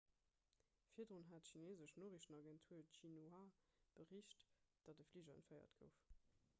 virdrun hat d'chineesesch noriichtenagentur xinhua bericht datt e fliger entféiert gouf